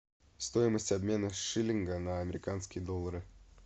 стоимость обмена шиллинга на американские доллары